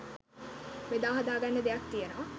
බෙදාහදාගන්න දෙයක් තියෙනවා..